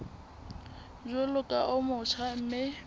jwalo ka o motjha mme